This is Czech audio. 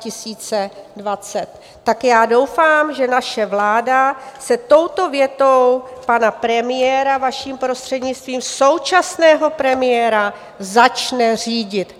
Tak já doufám, že naše vláda se touto větou pana premiéra, vaším prostřednictvím, současného premiéra, začne řídit.